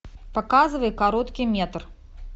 показывай короткий метр